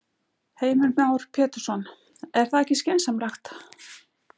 Heimir Már Pétursson: Er það ekki skynsamlegt?